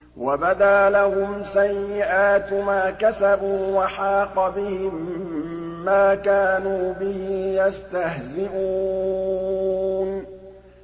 وَبَدَا لَهُمْ سَيِّئَاتُ مَا كَسَبُوا وَحَاقَ بِهِم مَّا كَانُوا بِهِ يَسْتَهْزِئُونَ